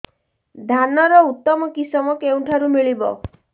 ଧାନର ଉତ୍ତମ କିଶମ କେଉଁଠାରୁ ମିଳିବ